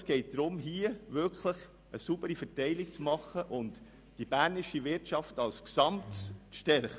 Es geht hier darum, eine wirklich saubere Verteilung zu machen und die bernische Wirtschaft als Gesamtes zu stärken.